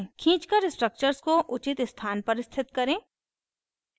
खींचकर structures को उचित स्थान पर स्थित करें